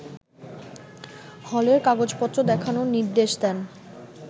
হলের কাগজপত্র দেখানোর নির্দেশ দেন